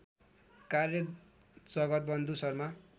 कार्य जगतवन्धु शर्मा